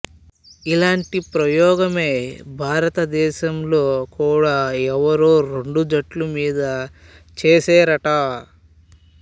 ఇలాంటి ప్రయోగమే భారత దేశంలో కూడ ఎవరో రెండు జట్ల మీద చేసేరుట